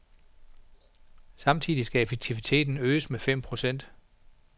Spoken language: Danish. Samtidig skal effektiviteten øges med fem procent.